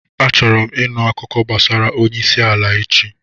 Achọrọ m ịnụ akụkọ gbasara onye isi ala echi.